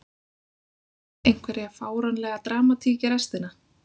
Fáum við einhverja fáránlega dramatík í restina??